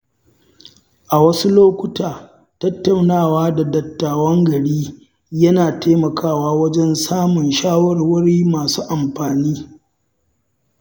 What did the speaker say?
A wasu lokuta, tattaunawa da dattawan gari yana taimakawa wajen samun shawarwari masu amfani.